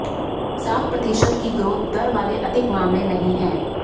सात प्रतिशत की ग्रोथ दर वाले अधिक मामले नहीं हैं